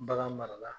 Bagan mara la